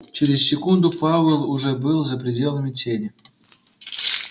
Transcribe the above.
через секунду пауэлл уже был за пределами тени